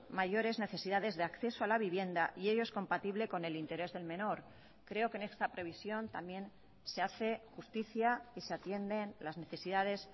mayores necesidades de acceso a la vivienda y ello es compatible con el interés del menor creo que en esta previsión también se hace justicia y se atienden las necesidades